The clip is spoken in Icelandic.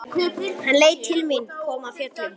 Hann leit til mín, kom af fjöllum.